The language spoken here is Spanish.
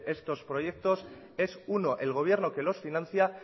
estos proyectos es uno el gobierno que los financia